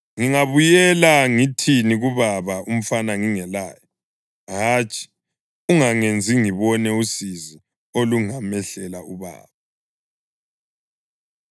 Ngingabuyela ngithini kubaba umfana ngingelaye? Hatshi! Ungangenzi ngibone usizi olungamehlela ubaba.”